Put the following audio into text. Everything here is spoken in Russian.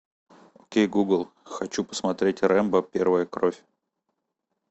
окей гугл хочу посмотреть рембо первая кровь